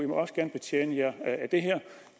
må også gerne betjene jer af det her